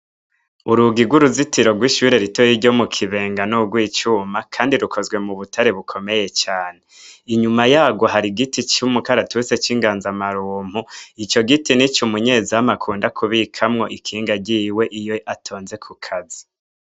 Urugi gw' uruzitiro gw' ishure ritoya ryo mu Kibenga ni ugwicuma kandi rukozwe mu butare bukomeye cane inyuma yagwo hari igiti c' umukaratusi c' ingazamarunku ico giti nico umunyezamu akunda kubikamwo ikinga ryiwe iyo atonze ku kazi.